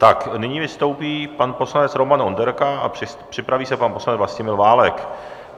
Tak nyní vystoupí pan poslanec Roman Onderka a připraví se pan poslanec Vlastimil Válek.